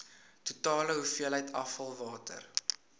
totale hoeveelheid afvalwater